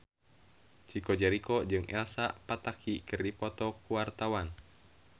Chico Jericho jeung Elsa Pataky keur dipoto ku wartawan